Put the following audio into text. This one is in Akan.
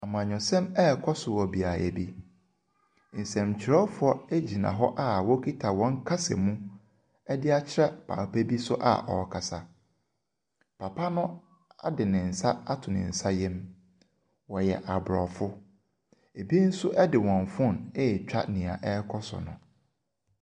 Amanyɛsɛm ɛrekɔ so wɔ beaeɛ bi, nsɛntwerɛfoɔ gyina hɔ wɔkita wɔn kasamu de akyerɛ papa bi so a ɔrekasa. Papa no de ne nsa ato ne nsayam, wɔyɛ aborɔfo. Bi nso de wɔn phone ɛretwa deɛ ɛrekɔ so no.